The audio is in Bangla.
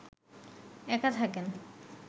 একা থাকেন